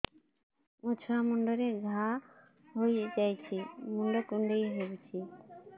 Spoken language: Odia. ମୋ ଛୁଆ ମୁଣ୍ଡରେ ଘାଆ ହୋଇଯାଇଛି ମୁଣ୍ଡ କୁଣ୍ଡେଇ ହେଉଛି